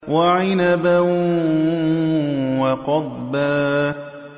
وَعِنَبًا وَقَضْبًا